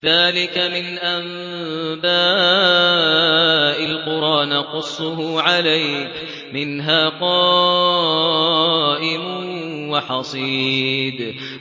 ذَٰلِكَ مِنْ أَنبَاءِ الْقُرَىٰ نَقُصُّهُ عَلَيْكَ ۖ مِنْهَا قَائِمٌ وَحَصِيدٌ